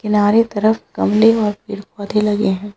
किनारे तरफ़ गमले और पेड़-पौधे लगे हैं।